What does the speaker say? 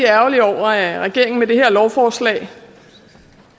ærgerlig over at regeringen med det her lovforslag